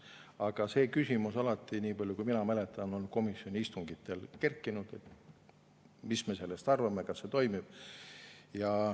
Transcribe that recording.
Aga see küsimus alati, niipalju kui mina mäletan, on komisjoni istungitel kerkinud, et mis me sellest arvame, kas see toimib.